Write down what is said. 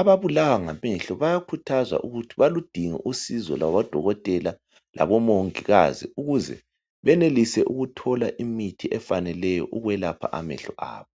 ababulawa ngamehlo bayakhuthazwa ukuthi baludinge usizo lwabodokotela labomongikazi ukuze benelise ukuthola imithi efaneleyo ukwelapha amehlo abo.